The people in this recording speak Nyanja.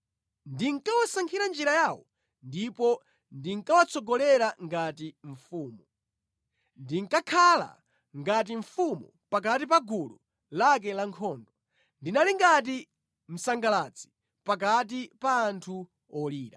Ndinkawasankhira njira yawo ndipo ndinkawatsogolera ngati mfumu; ndinkakhala ngati mfumu pakati pa gulu lake lankhondo; ndinali ngati msangalatsi pakati pa anthu olira.”